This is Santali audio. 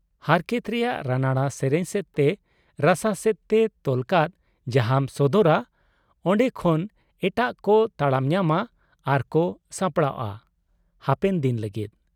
ᱦᱟᱨᱠᱮᱛ ᱨᱮᱭᱟᱜ ᱨᱟᱱᱟᱲᱟ ᱥᱮᱨᱮᱧ ᱥᱮᱫ ᱛᱮ ᱨᱟᱥᱟ ᱥᱮᱫ ᱛᱮ ᱛᱚᱞ ᱠᱟᱛ ᱡᱟᱦᱟᱸᱢ ᱥᱚᱫᱚᱨᱟ, ᱚᱱᱰᱮ ᱠᱷᱚᱱ ᱮᱴᱟᱜ ᱠᱚ ᱛᱟᱲᱟᱢ ᱧᱟᱢᱟ ᱟᱨᱠᱚ ᱥᱟᱯᱲᱟᱣᱜ ᱟ ᱦᱟᱯᱮᱱ ᱫᱤᱱ ᱞᱟᱹᱜᱤᱫ ᱾